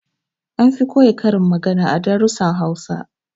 An fi koya karin magana a darussan Hausa